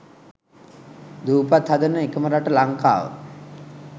දූපත් හදන එකම රට ලංකාව